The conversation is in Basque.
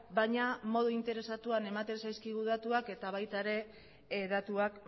baina modu interesatuan ematen zaizkigu datuak eta baita ere datuak